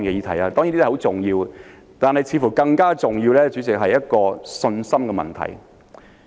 這些當然很重要，但似乎更重要的，主席，是信心問題。